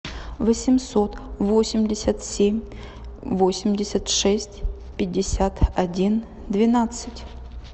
восемьсот восемьдесят семь восемьдесят шесть пятьдесят один двенадцать